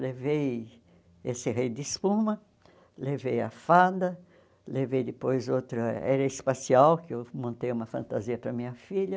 Levei esse rei de espuma, levei a fada, levei depois outra era espacial, que eu montei uma fantasia para minha filha.